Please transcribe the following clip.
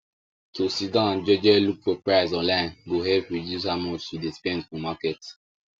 to siddon jeje look for prices online go help reduce how much you dey spend for market